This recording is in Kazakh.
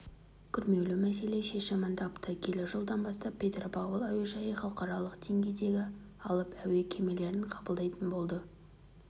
күрмеулі мәселе шешімін тапты келер жылдан бастап петропавл әуежайы халықаралық деңгейдегі алып әуе кемелерін қабылдайтын болады